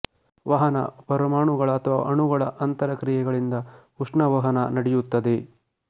ವಹನ ಪರಮಾಣುಗಳ ಅಥವಾ ಅಣುಗಳ ಅಂತರ ಕ್ರಿಯೆಗಳಿಂದ ಉಷ್ಣವಹನ ನಡೆಯುತ್ತದೆ